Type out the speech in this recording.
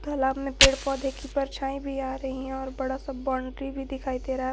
तालाब में पेड़ पौधे की परछाई भी आ रही है और बड़ा सा बाउंड्री भी दिखाई दे रहा है।